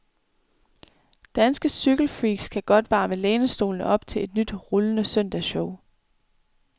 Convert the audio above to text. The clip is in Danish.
Danske cykelfreaks kan godt varme lænestolene op til et nyt rullende søndagsshow.